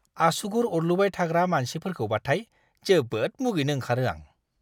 आसुगुर अरलुबाय थाग्रा मानसिफोरखौबाथाय जोबोद मुगैनो ओंखारो आं!